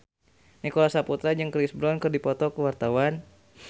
Nicholas Saputra jeung Chris Brown keur dipoto ku wartawan